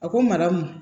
A ko mara ma